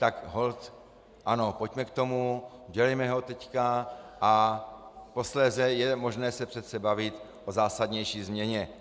Tak holt ano, pojďme k tomu, dělejme ho teď, a posléze je možné se přece bavit o zásadnější změně.